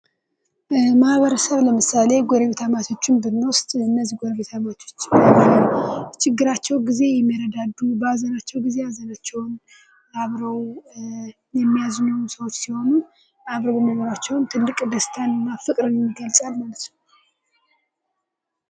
በማህበረሰብ ለምሳሌ፦ ጎረቤታማቾችን ብንወስድ ፦ እነዚህ ጎረቤታማቾች በችግራቸው ጊዜ የሚረዳዱ፣ በሀዘናቸው ጊዜ ሀዘናቸውን አብረው የሚያዝኑ ሰዎች ሲሆኑ አብረው መኖራቸውም ትልቅ ደስታንና ፍቅርን ይገልጻል ማለት ነው ።